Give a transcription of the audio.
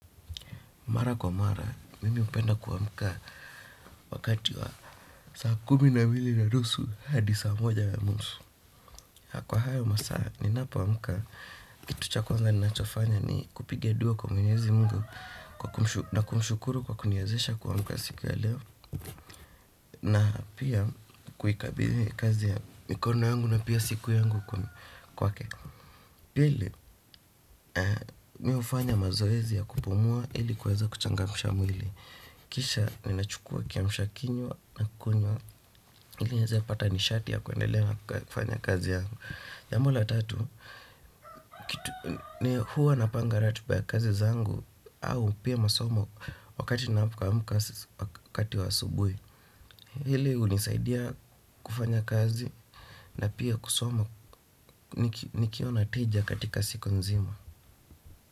Mara kwa mara, mimi hupenda kuamka wakati wa saa kumi na mbili nanusu hadi saa moja na nusu. Kwa hayo masaa, ninapoamka, kitu cha kwanza ninachofanya ni kupiga dua kwa mwenyezi mungu na kumshukuru kwa kuniezesha kuamka siku ya leo na pia kuikabidhi kazi ya mikono yangu na pia siku yangu kwa ke. Pili, mihufanya mazoezi ya kupumua ilikuweza kuchangamisha mwili. Kisha ninachukua kiamshakinywa na kukunywa. Ili nieze kupata nishati ya kuendelea na kufanya kazi yangu jambo la tatu, huwa napanga ratiba ya kazi zangu au pia masomo wakati ninapoamka wakati wa asubuhi hili hunisaidia kufanya kazi na pia kusoma nikiwa na tija katika siku nzima.